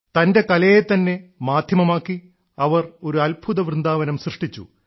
തന്റെ കലയെ തന്നെ മാധ്യമമാക്കി അവർ ഒരു അത്ഭുത വൃന്ദാവനം സൃഷ്ടിച്ചു